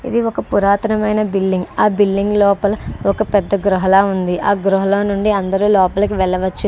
ఇది ఒక పురాతనమైన బిల్డింగ్ . ఆ బిల్డింగ్ లోపల ఒక పెద్ద గృహలా ఉంది. ఆ గృహలో నుంచి అందరు లోపలకి వెల్లవచ్చు --